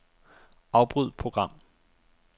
Afbryd program.